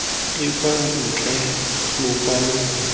e kwa ntle lokwalo longwe